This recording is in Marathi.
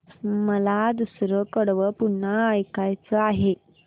मला दुसरं कडवं पुन्हा ऐकायचं आहे